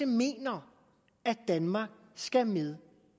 mener at danmark skal med